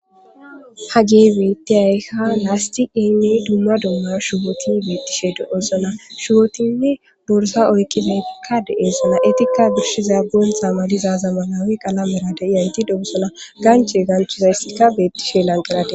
Ha gey beitti ayka lasti emi dumma domma shuwoti beettishe do'osona shuwotinne borsa oykkifekka de'eesana etikka birshiza boonta maliza zamanawi qalamera de iyanti dogusola ganche ganchidayssikka beettishe lanqerade.